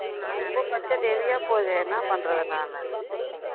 ரொம்ப budget heavy யா போகுதே என்னா பண்றது நானு